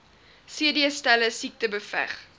cdselle siekte beveg